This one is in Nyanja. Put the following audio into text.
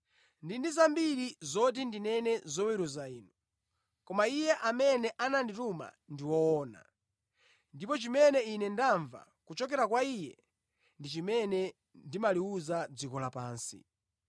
ndili ndi zambiri zoti ndinene zoweruza inu. Koma Iye amene anandituma ndi woona, ndipo chimene Ine ndamva kuchokera kwa Iye, ndi chimene ndimaliwuza dziko lapansi.”